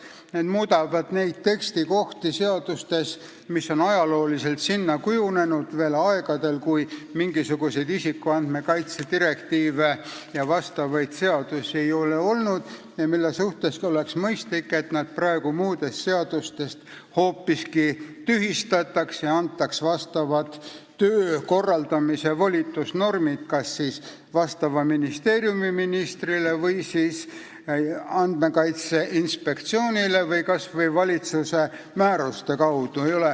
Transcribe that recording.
Need muudavad neid tekstikohti seadustes, mis on ajalooliselt kujunenud veel aegadel, kui mingisuguseid isikuandmete kaitse direktiive ega vastavaid seadusi ei olnud, ja oleks mõistlik, et nad praegu seadustes hoopiski tühistataks ja antaks vastava töö korraldamise volitusnormid kas mõnele ministrile või Andmekaitse Inspektsioonile või võiks seda tööd teha kas või valitsuse määruste kaudu.